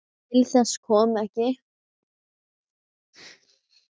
Til þess kom ekki.